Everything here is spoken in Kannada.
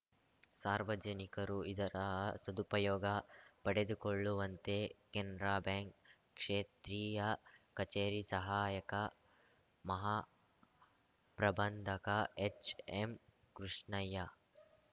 ಸಾರ್ವಜನಿಕರು ಇದರ ಸದುಪಯೋಗ ಪಡೆದುಕೊಳ್ಳುವಂತೆ ಕೆನರಾ ಬ್ಯಾಂಕ್‌ ಕ್ಷೇತ್ರೀಯ ಕಚೇರಿ ಸಹಾಯಕ ಮಹಾ ಪ್ರಬಂಧಕ ಎಚ್‌ಎಂಕೃಷ್ಣಯ್ಯ